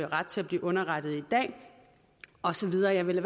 ret til at blive underrettet i dag og så videre jeg vil